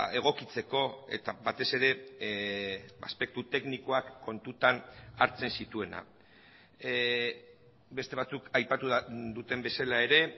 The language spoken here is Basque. egokitzeko eta batez ere aspektu teknikoak kontutan hartzen zituena beste batzuk aipatu duten bezala ere